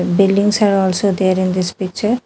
Buildings are also there in this picture.